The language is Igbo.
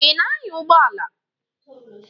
Ị na-anya ụgbọala?